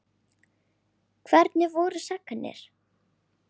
Hvernig voru sagnir?